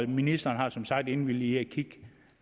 ministeren har som sagt indvilget i